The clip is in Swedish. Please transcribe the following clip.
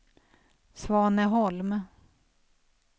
Svaneholm